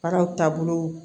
Baaraw taabolo